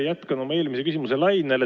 Ma jätkan oma eelmise küsimuse lainel.